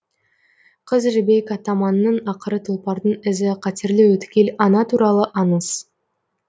қыз жібек атаманның ақыры тұлпардың ізі қатерлі өткел ана туралы аңыз